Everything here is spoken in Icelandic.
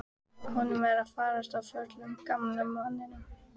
Honum er farið að förlast, gamla manninum.